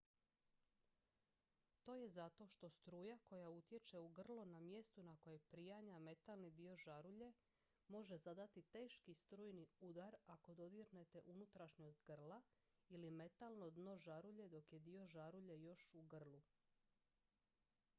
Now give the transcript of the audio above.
to je zato što struja koja utječe u grlo na mjestu na koje prianja metalni dio žarulje može zadati teški strujni udar ako dodirnete unutrašnjost grla ili metalno dno žarulje dok je dio žarulje još u grlu